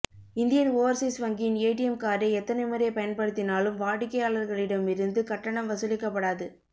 Indian overseas வங்கியின் ATM கார்டை எத்தனை முறை பயன்படுத்தினாலும் வாடிக்கையாளர்களிடம் இருந்து கட்டணம் வசூலிக்கப்படாது